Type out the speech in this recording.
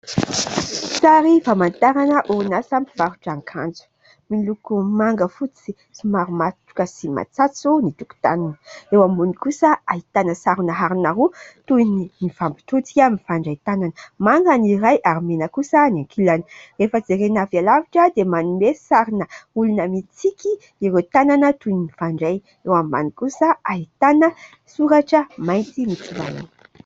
Sary famantarana orinasa mpivarotra akanjo. Miloko manga, fotsy somary matroka sy matsatso ny tokotaniny. Eo ambony kosa ahitana sarona harona roa toy ny fampitodika mifandray tanana. Manga ny iray ary mena kosa ny ankilany. Rehefa jerena avỳ alavitra dia manome sarina olona mintsiky ireo tanana toy ny mifandray. Eo ambany kosa ahitana soratra mainty mitsivalana.